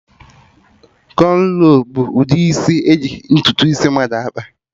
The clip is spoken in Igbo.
Kọnro bụ ụdị isi eji sọ ntutu isi mmadụ akpa